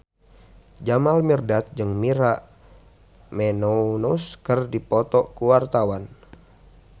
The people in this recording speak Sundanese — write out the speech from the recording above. Jamal Mirdad jeung Maria Menounos keur dipoto ku wartawan